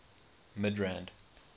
midrand